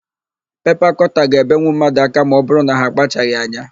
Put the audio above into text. Pepa kọta ga-ebenwu mmadụ aka ma ọbụrụ na ha akpachaghị anya.